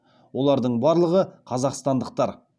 олардың барлығы қазақстандықтар